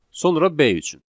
Sonra B üçün.